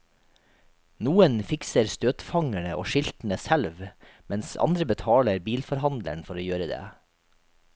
Noen fikser støtfangerne og skiltene selv, mens andre betaler bilforhandleren for å gjøre det.